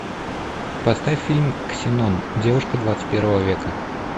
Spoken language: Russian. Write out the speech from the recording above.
поставь фильм ксенон девушка двадцать первого века